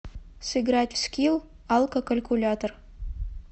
сыграть в скилл алкокалькулятор